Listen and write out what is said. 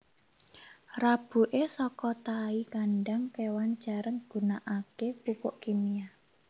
Rabuke saka tahi kandhang kewan jarang gunakake pupuk kimia